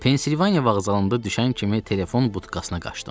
Pensilvaniya vağzalında düşən kimi telefon butkasına qaçdım.